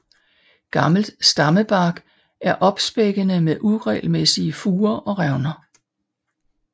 Gammel stammebark er opsprækkende med uregelmæssige furer og revner